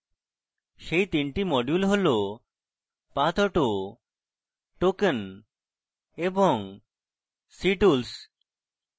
সেটি তিনটি modules হল pathauto token এবং ctools